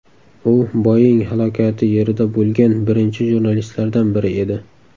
U Boeing halokati yerida bo‘lgan birinchi jurnalistlardan biri edi.